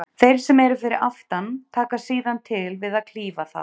Þeir sem eru fyrir aftan taka síðan til við að klífa það.